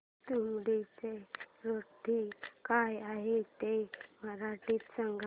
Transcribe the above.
तुंबाडची स्टोरी काय आहे ते मराठीत सांग